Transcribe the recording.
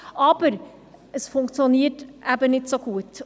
Aber es funktioniert nicht so gut.